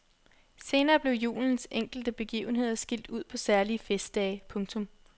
Senere blev julens enkelte begivenheder skilt ud på særlige festdage. punktum